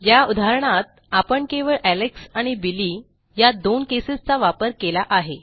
या उदाहरणात आपण केवळ एलेक्स आणि बिली या दोन केसेसचा वापर केला आहे